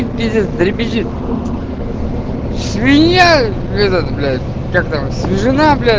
пиздец дребезжит свинья это блять этот блять свежена бля